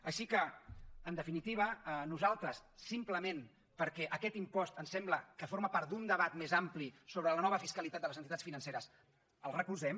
així que en definitiva nosaltres simplement perquè aquest impost ens sembla que forma part d’un debat més ampli sobre la nova fiscalitat de les entitats financeres el recolzem